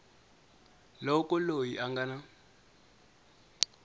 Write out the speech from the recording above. loko loyi a nga na